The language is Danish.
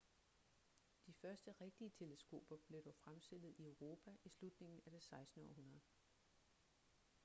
de første rigtige teleskoper blev dog fremstillet i europa i slutningen af det 16. århundrede